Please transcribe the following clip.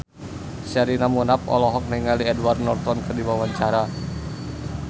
Sherina Munaf olohok ningali Edward Norton keur diwawancara